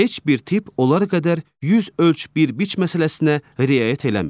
Heç bir tip onlar qədər yüz ölç bir biç məsələsinə riayət eləmir.